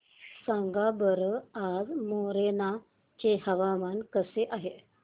सांगा बरं आज मोरेना चे हवामान कसे आहे